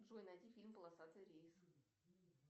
джой найди фильм полосатый рейс